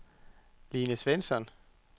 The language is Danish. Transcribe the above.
Line Svensson